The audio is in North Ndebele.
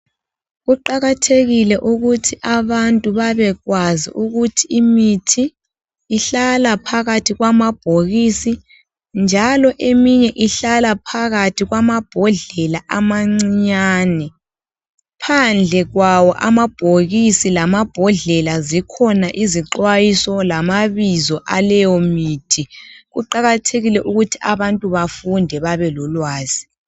Kuqakathekile ukuthi abantu babekwazi ukuthi imithi ihlala phakathi kwamabhokisi njalo eminye ihlala phakathi kwamabhodlela amancinyane, phandle kwawo amabhokisi lamabhodlela zikhona izixwayiso lamabizo aleyo mithi kuqakathekile ukuthi abantu bafunde babelolwazi.